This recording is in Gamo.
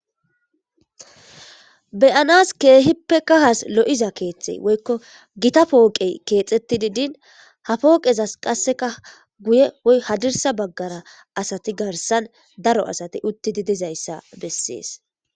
Beyanas keehippe kahas lo7iza keeththey woykko gita pooqey keexetti didin ha pooqezas qasseka guyeyhadirsa baggara asati garsan daro asati uttidi dizayssa bessees.